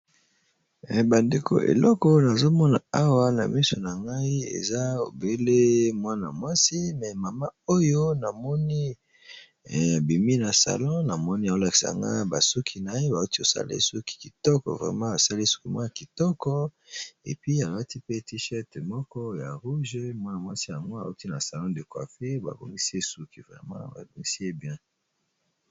bandeko eleko na azomona awa na miso na ngai eza obele mwana mwasi me mama oyo na moni ya bimi na salon na moni ya olaksanga basuki naye bauti osali suki kitoko vrema basali suki mwan kitoko epi alwati pe tichet moko ya rouge mwa na- mwasi yango auti na salon de cuafe babonisi suki vrema abobonisi ye bien